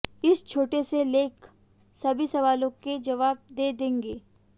इस छोटे से लेख सभी सवालों के जवाब दे देंगे